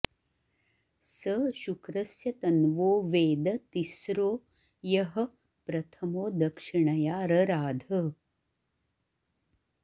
स शुक्रस्य तन्वो वेद तिस्रो यः प्रथमो दक्षिणया रराध